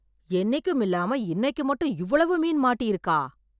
என்னைக்கும் இல்லாம இன்னைக்கு மட்டும் இவ்வளவு மீன் மாட்டி இருக்கா